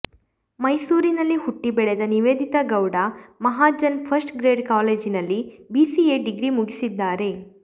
ಮೈಸೂರಿನಲ್ಲಿ ಹುಟ್ಟಿ ಬೆಳೆದ ನಿವೇದಿತಾ ಗೌಡ ಮಹಾಜನ್ ಫಸ್ಟ್ ಗ್ರೇಡ್ ಕಾಲೇಜಿನಲ್ಲಿ ಬಿಸಿಎ ಡಿಗ್ರಿ ಮುಗಿಸಿದ್ದಾರೆ